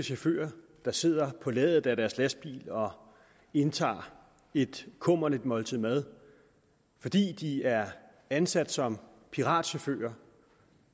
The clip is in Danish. chauffører der sidder på ladet af deres lastbil og indtager et kummerligt måltid mad fordi de er ansat som piratchauffører